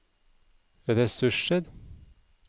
ressurser